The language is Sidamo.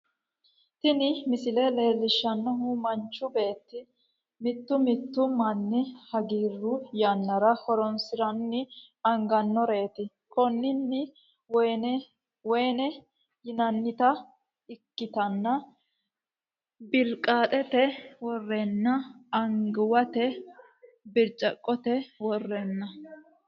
Tinni miisile leelishanhu maanchu beeti miitu miitu maani haagiru yaanara hooronsirano aanganoreti kuunino weynne yiinanita ekkitana biilkaxete woorani aanganiwete biirckote woorani .